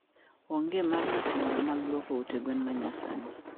onge mar masinde mag lwoko ute gwen ma nyasani.